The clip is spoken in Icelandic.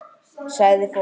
Sagði fólk.